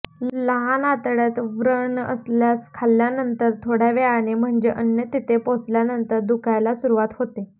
लहान आतड्यात व्रण असल्यास खाल्ल्यानंतर थोड्या वेळाने म्हणजे अन्न तेथे पोचल्यानंतर दुखायला सुरवात होते